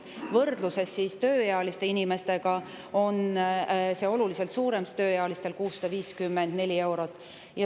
Võrdluses tööealiste inimestega on see oluliselt suurem, tööealistel on see 654 eurot.